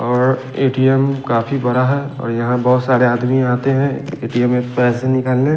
और ए_टी_एम काफी बड़ा है और यहाँ बोहोत साड़े आदमी आते है ए_टी_एम् से पेसे निकालने--